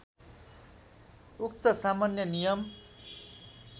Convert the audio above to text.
उक्त सामान्य नियम